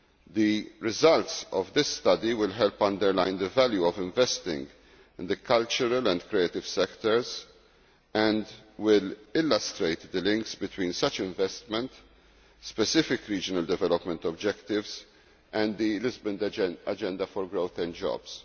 The results of this study will help underline the value of investing in the cultural and creative sectors and will illustrate the links between such investment, specific regional development objectives and the Lisbon Agenda for growth and jobs.